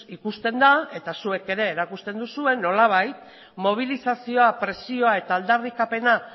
ikusten da eta zuek ere erakusten duzue nolabait mobilizazioa presioa eta aldarrikapena